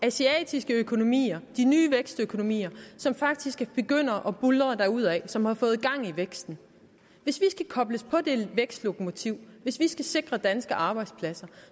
asiatiske økonomier de nye vækstøkonomier som faktisk begynder at buldre derudad og som har fået gang i væksten hvis vi skal kobles på det vækstlokomotiv hvis vi skal sikre danske arbejdspladser